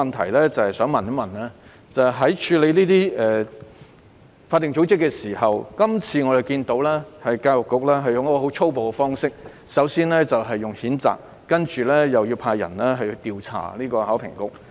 我的補充質詢是關於處理這些法定組織的手法，我們看到教育局今次使用了很粗暴的方式，首先作出譴責，接着派員調查考評局。